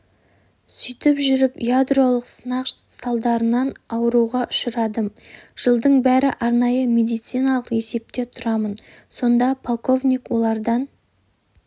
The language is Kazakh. сөйтіп жүріп ядролық сынақ салдарынан ауруға ұшырадым жылдың бері арнайы медициналық есепте тұрамын сонда полковник олардан